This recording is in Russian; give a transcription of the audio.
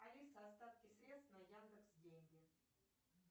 алиса остатки средств на яндекс деньги